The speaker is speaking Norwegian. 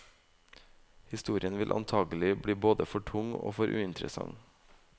Historien vil antagelig bli både for tung og for uinteressant.